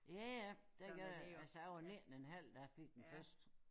Ja ja det gør det altså jeg var 19 en halv da jeg fik den første